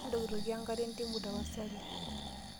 Intokitokieki enkare entimu tapasali.